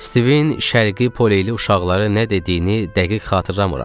Stivin Şərqi Poleyli uşaqları nə dediyini dəqiq xatırlamıram.